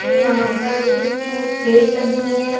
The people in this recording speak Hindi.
यहां पर कुछ लग रही है ।